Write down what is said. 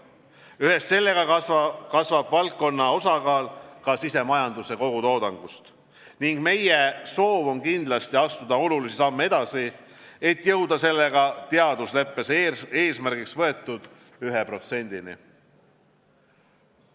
Ühes sellega kasvab valdkonna osakaal ka sisemajanduse kogutoodangus ning meie soov on kindlasti astuda olulisi samme edasi, et jõuda sellega teadusleppes eesmärgiks võetud 1%-ni.